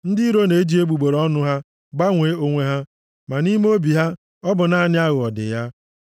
Ndị iro na-eji egbugbere ọnụ ha gbanwee onwe ha, ma nʼime obi ha ọ bụ naanị aghụghọ dị ya.